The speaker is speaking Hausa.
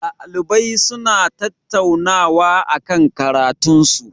Ɗalibai suna tattaunawa akan karatun su.